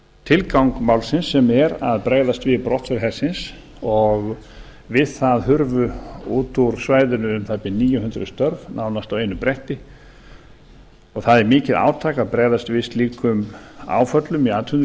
tilgang málsins sem er að bregðast við brottför hersins og við það hurfu út úr svæðinu um það bil níu hundruð störf nánast á einu bretti dag það er mikið átak að bregðast við slíkum áföllum í